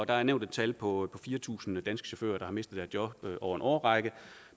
er nævnt et tal på fire tusind danske chauffører der har mistet deres job over en årrække